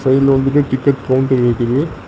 சைடுல வந்துட்டு ticket counter இருக்குது.